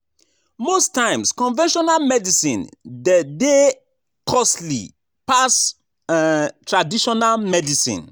Most times conventional medicine de dey costly pass um traditional medicine